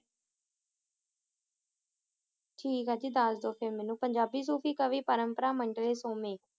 ਦਸ ਦੋ ਫਿਰ ਮੇਨੂ ਪੰਜਾਬੀ ਤੂ ਵ ਕਵੀ ਪਾਰੁਮ੍ਪਾਰਾ